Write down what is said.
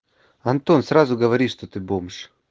антон сразу говори что ты бомж